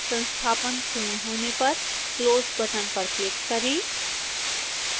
संस्थापन पूर्ण होने पर close बटन पर क्लिक करें